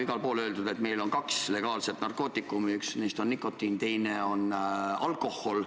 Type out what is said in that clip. Igal pool on öeldud, et meil on kaks legaalset narkootikumi, üks neist on nikotiin, teine on alkohol.